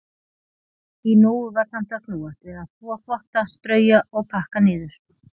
Í nógu var samt að snúast við að þvo þvotta, strauja og pakka niður.